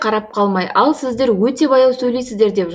қарап қалмай ал сіздер өте баяу сөйлейсіздер деп